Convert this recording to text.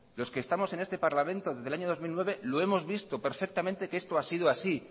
los que estamos en este parlamento desde el año dos mil nueve lo hemos visto perfectamente que esto ha sido así